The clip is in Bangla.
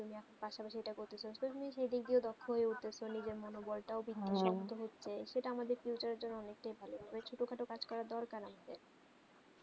পাশা পাসই করতেছো সে দিক দিয়ে দক্ষ উঠে তো নিজের মনে বলতাও হচ্ছে সেটা আমাদের এর জন্য অনেক তাই ভালো ছোটো খাটো করার দরকার আমাদের